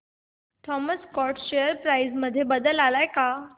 Thomas Scott share price मध्ये बदल आलाय का